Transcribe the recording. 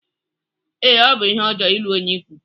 Ee, ọ bụ ihe ọjọọ ịlụ onye ikwu.